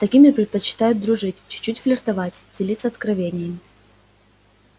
с такими предпочитают дружить чуть-чуть флиртовать делиться откровениями